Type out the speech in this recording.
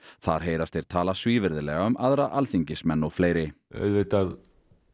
þar heyrast þeir tala svívirðilega um aðra alþingismenn og fleiri auðvitað